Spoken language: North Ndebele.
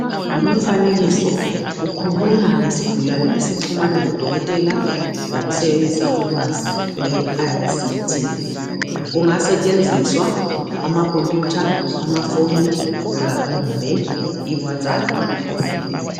Lumfanekiso ukhuluma ngesigulane esixhumana lodokotela ngokusebenzisa ulwazi lwe ayisithi. Kungasetshenziswa amakhompuyutha, amafoni kumbe iwatsaphu.